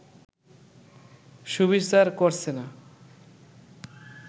সুবিচার করছে না